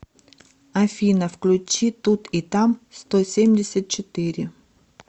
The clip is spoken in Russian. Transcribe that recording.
афина включи тут и там сто семьдесят четыре